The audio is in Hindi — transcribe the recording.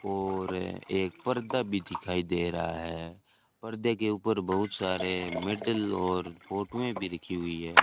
और ए एक परदा भी दिखाई दे रहा हैं पर्दे के ऊपर बहुत सारे मेडल और फोटोएं भी रखी हुई हैं।